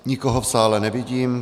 Nikoho v sále nevidím.